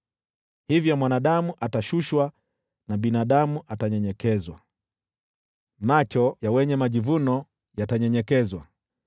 Hivyo mwanadamu atashushwa, na binadamu kunyenyekezwa, macho ya wenye majivuno yatanyenyekezwa.